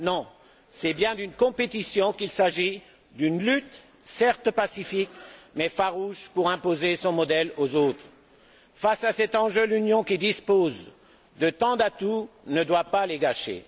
Non, c'est bien d'une compétition qu'il s'agit, d'une lutte certes pacifique, mais farouche pour imposer son modèle aux autres. Face à cet enjeu, l'Union, qui dispose de tant d'atouts, ne doit pas les gâcher.